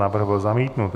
Návrh byl zamítnut.